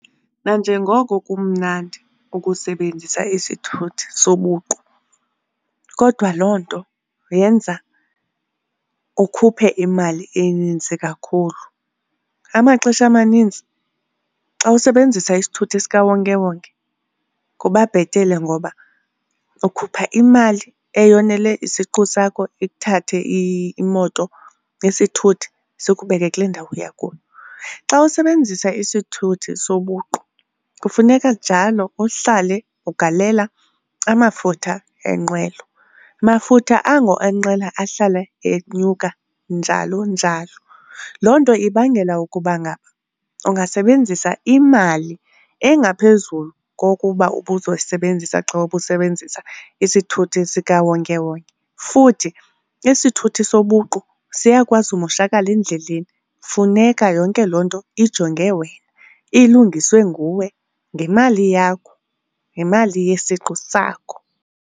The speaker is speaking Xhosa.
Nanjengoko kumnandi ukusebenzisa isithuthi sobuqu kodwa loo nto yenza ukhuphe imali eninzi kakhulu. Amaxesha amaninzi xa usebenzisa isithuthi sikawonkewonke kuba bhetele ngoba ukhupha imali eyonele isiqu sakho ikuthathe imoto, isithuthi sikubeke kule ndawo uya kuyo. Xa usebenzisa isithuthi sobuqu kufuneka njalo uhlale ugalela amafutha enqwelo, mafutha ango enqwelo ahlale enyuka njalo njalo. Loo nto ibangela ukuba ngaba ungasebenzisa imali engaphezulu kokuba ubuzoyisebenzisa xa ubusebenzisa isithuthi sikawonkewonke. Futhi isithuthi sobuqu siyakwazi umoshakala endleleni funeka yonke loo nto ijonge wena, ilungiswe nguwe ngemali yakho, ngemali yesiqu sakho.